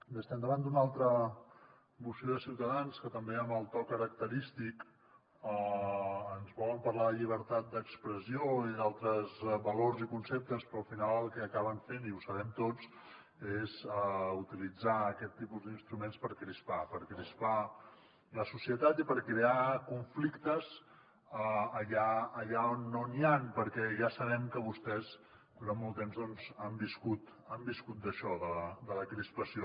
bé estem davant d’una altra moció de ciutadans que també amb el to característic ens volen parlar de llibertat d’expressió i d’altres valors i conceptes però al final el que acaben fent i ho sabem tots és utilitzar aquest tipus d’instruments per crispar per crispar la societat i per crear conflictes allà on no n’hi han perquè ja sabem que vostès durant molt temps han viscut d’això de la crispació